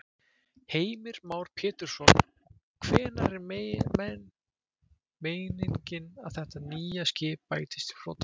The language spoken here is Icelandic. Heimir Már Pétursson: Og hvenær er meiningin að þetta nýja skip bætist í flotann?